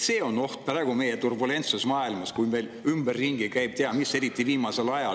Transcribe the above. See on oht meie praeguses turbulentses maailmas, kui meil ümberringi käib ei tea mis, eriti viimasel ajal.